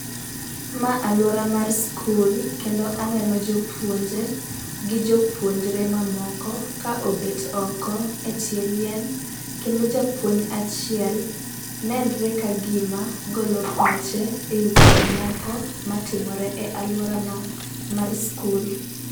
Ma alwora ma skul. Kendo aneno jopuonje gi jopuonjore mamoko ka obet oko e tie yien. Kendo japuonj achiel, nenore kagima golo pache e weche moko matimore e alworano mar skul.